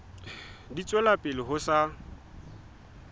di tswela pele ho sa